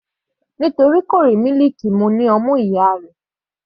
Nítorí kò rí mílìkì mu ní ọmú ìyá rẹ̀.